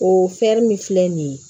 O min filɛ nin ye